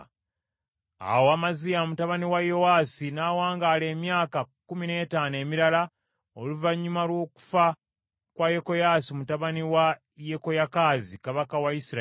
Awo Amaziya mutabani wa Yowaasi n’awangaala emyaka kkumi n’ettaano emirala oluvannyuma lw’okufa kwa Yekoyaasi mutabani wa Yekoyakaazi kabaka wa Isirayiri.